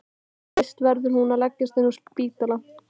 En fyrst verður hún að leggjast inn á spítala.